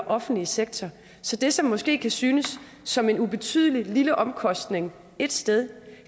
offentlige sektor så det som måske kan synes som en ubetydelig lille omkostning et sted